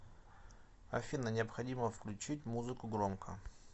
афина необходимо включить музыку громко